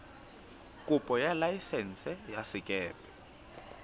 kopo ya laesense ya sekepe